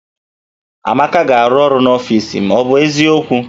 Amaka ga-arụ ọrụ n'ọfis m, ọ bụ eziokwu?